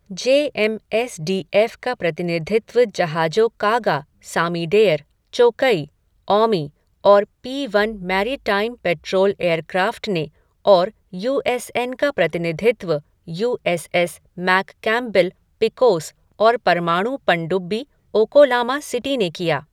जे M S D F का प्रतिनिधित्व जहाजों कागा, सामीडेयर, चोकई, औमी और P one maritime patrol aircraft ने और यू एस एन का प्रतिनिधित्व USS McCampbell, Pecos और परमाणु पनडुब्बी ओकोलामा सिटी ने किया।